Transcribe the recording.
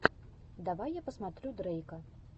давай я посмотрю дрейка